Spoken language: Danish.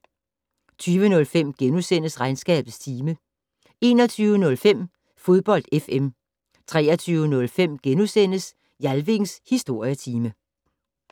20:05: Regnskabets time * 21:05: Fodbold FM 23:05: Jalvings Historietime *